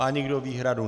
Má někdo výhradu?